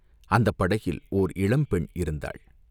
அந்தப் படகில் ஓர் இளம் பெண் இருந்தாள்.